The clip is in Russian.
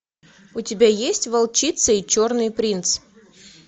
у тебя есть волчица и черный принц